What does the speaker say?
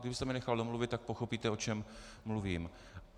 Kdybyste mě nechal domluvit, tak pochopíte, o čem mluvím.